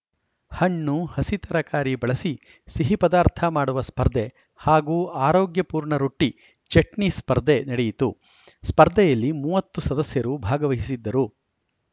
ಹಣ್ಣು ಹಸಿ ತರಕಾರಿ ಬಳಸಿ ಸಿಹಿ ಪದಾರ್ಥ ಮಾಡುವ ಸ್ಪರ್ಧೆ ಹಾಗೂ ಆರೋಗ್ಯ ಪೂರ್ಣ ರೊಟ್ಟಿ ಚಟ್ನಿ ಸ್ಪರ್ಧೆ ನಡೆಯಿತು ಸ್ಪರ್ಧೆಯಲ್ಲಿ ಮೂವತ್ತು ಸದಸ್ಯರು ಭಾಗವಹಿಸಿದ್ದರು